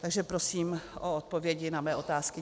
Takže prosím o odpovědi na své otázky.